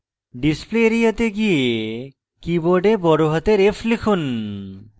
display area তে গিয়ে keyboard বড়হাতের f লিখুন